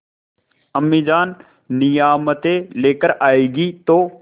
अम्मीजान नियामतें लेकर आएँगी तो